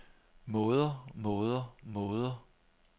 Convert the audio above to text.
måder måder måder